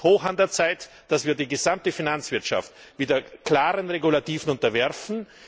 Es ist höchste Zeit, dass wir die gesamte Finanzwirtschaft wieder klaren Regulativen unterwerfen.